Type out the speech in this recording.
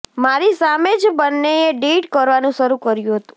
મારી સામે જ બંનેએ ડેટ કરવાનું શરૂ કર્યું હતું